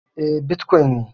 E, bitkwon ne